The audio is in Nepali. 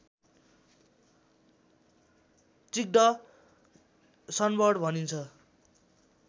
चिक्ड सनबर्ड भनिन्छ